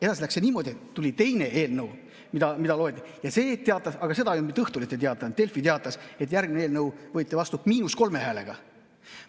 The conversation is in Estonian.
Edasi läks niimoodi, et tuli teine eelnõu ja selle kohta ei teatanud mitte Õhtuleht, vaid teatas Delfi, et see eelnõu võeti vastu miinus kolme häälega.